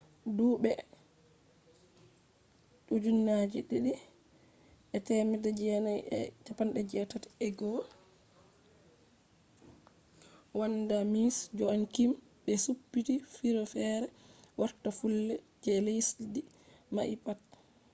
dubi 1981 vanda miss joaquim be suptti fure fere warta fulle je lesdi mai pat